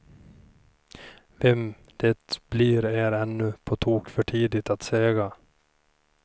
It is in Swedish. Vem det blir är ännu på tok för tidigt att säga.